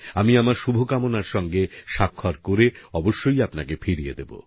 আমি আমার শুভকামনার সাথে স্বাক্ষর করে অবশ্যই আপনাকে ফিরিয়ে দেব